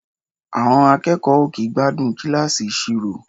À̀ọn akẹ́kọ̀ọ́ ò kì í gbádùn kíláàsì ìṣirò.